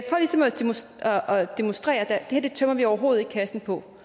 demonstrere at det her tømmer vi overhovedet ikke kassen på